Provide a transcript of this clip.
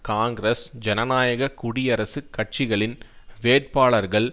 காங்கிரஸ் ஜனநாயக குடியரசுக் கட்சிகளின் வேட்பாளர்கள்